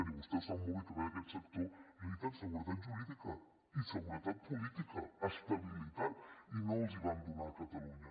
i vostè ho sap molt bé que ve d’aquest sector necessiten seguretat jurídica i seguretat política estabilitat i no els en van donar a catalunya